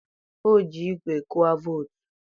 o ji igwe gụa vootu